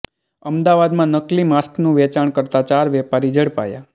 અમદાવાદમાં નકલી માસ્કનું વેચાણ કરતા ચાર વેપારી ઝડપાયા